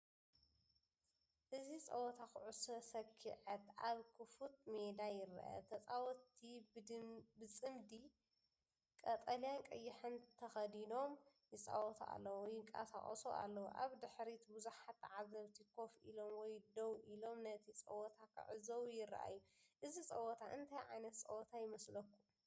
እዚ ጸወታ ኩዕሶ ሰኪዔት ኣብ ክፉት ሜዳ ይርአ። ተጻወትቲ ብጽምዲ፡ቀጠልያን ቀይሕን ተኸዲኖም ይጻወቱ ኣለዉ፡ ይንቀሳቐሱ ኣለዉ። ኣብ ድሕሪት ብዙሓት ተዓዘብቲ ኮፍ ኢሎም ወይ ደው ኢሎም ነቲ ጸወታ ክዕዘቡ ይረኣዩ። እዚ ጸወታ እንታይ ዓይነት ፀወታ ይመስለኩም?